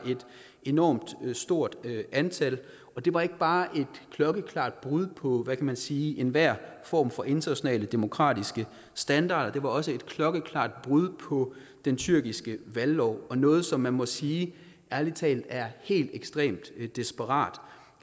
enormt stort antal og det var ikke bare et klokkeklart brud på hvad kan man sige enhver form for internationale demokratiske standarder det var også et klokkeklart brud på den tyrkiske valglov og noget som man må sige ærlig talt er helt ekstremt desperat